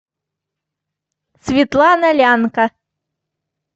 светлана лянка